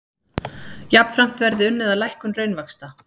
Jafnframt verði unnið að lækkun raunvaxta